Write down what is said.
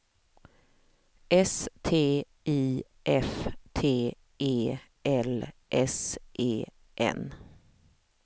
S T I F T E L S E N